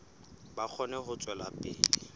ba kgone ho tswela pele